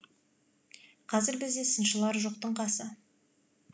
қазір бізде сыншылар жоқтың қасы